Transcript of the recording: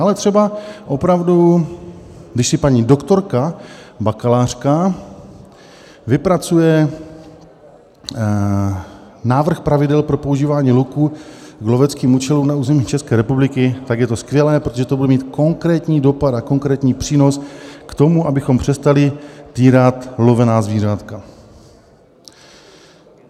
Ale třeba opravdu když si paní doktorka, bakalářka vypracuje návrh pravidel pro používání luku k loveckým účelům na území České republiky, tak je to skvělé, protože to bude mít konkrétní dopad a konkrétní přínos k tomu, abychom přestali týrat lovená zvířátka.